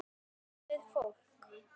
Tala við fólkið.